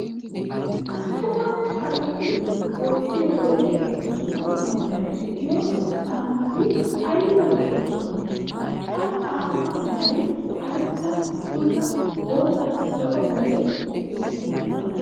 Attuma asati wottiyo wodee ehiido dumma dumma meray de'iyo caamati ayba lo'iyonaa! Ha caammaa meray karetta, bulla, boottanne zo"o meray de'iyogeeta.